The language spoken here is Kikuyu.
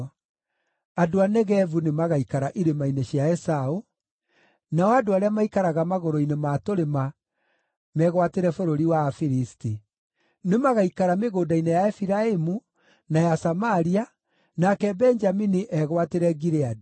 Andũ a Negevu nĩmagaikara irĩma-inĩ cia Esaũ, nao andũ arĩa maikaraga magũrũ-inĩ ma tũrĩma megwatĩre bũrũri wa Afilisti. Nĩmagaikara mĩgũnda-inĩ ya Efiraimu, na ya Samaria, nake Benjamini egwatĩre Gileadi.